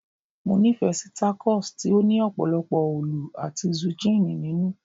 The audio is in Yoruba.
mo ni fe si takos ti o ni opolopo olu ati zucchini ninu